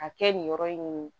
A kɛ nin yɔrɔ in ye